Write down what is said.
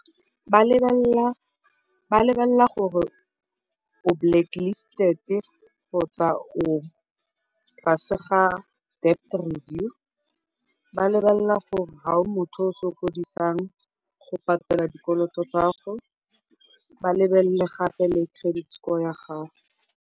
Ba lebelela gore o blacklisted kgotsa o tlase ga debt review, ba lebelela gore ga o motho yo a sokodisang go patela dikoloto tsa gago, ba lebelele gape le credit score ya gago.